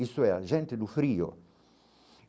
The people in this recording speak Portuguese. isso é a gente do frio.